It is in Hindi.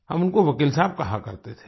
हम उनको वकील साहब कहा करते थे